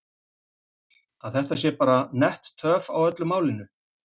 Páll: Að þetta sé bara nett töf á öllu málinu?